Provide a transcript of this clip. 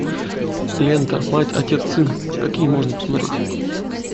лента мать отец сын какие можно посмотреть